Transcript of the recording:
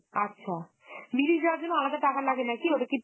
আচ্ছা, মিরিক যাওয়ার জন্য আলাদা টাকা লাগে নাকি? ওটা কি